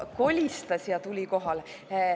Kolistas ja tuli kohale.